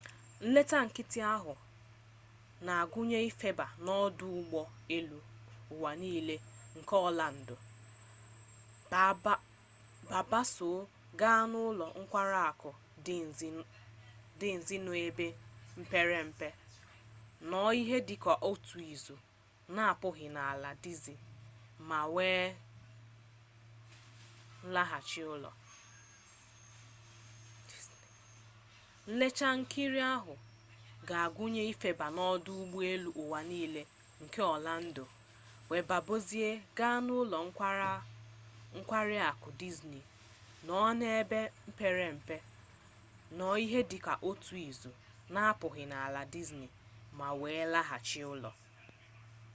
nleta nkịtị ahụ na-agụnye ifeba n'ọdụ ụgbọ elu ụwa nile nke ọlando baa bọọsụ gaa n'ụlọ nkwari akụ dizni nọ n'ebe mepere emepe nọọ ihe dị ka otu izu na-apụghị n'ala dizni ma wee laghachi ụlọ